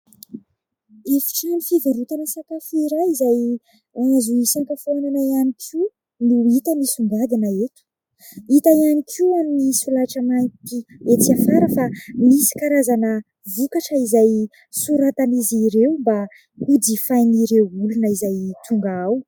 Efi-trano fivarotana sakafo iray izay azo hisakafoanana ihany koa no hita misongadina eto. Hita ihany koa amin'ny solaitra mainty etsy afara fa misy karazana vokatra izay soratan'izy ireo mba hojifain' ireo olona izay tonga ao.